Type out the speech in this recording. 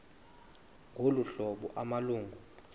ngolu hlobo amalungu